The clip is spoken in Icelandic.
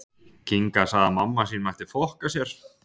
Milljónir á leið til Mekka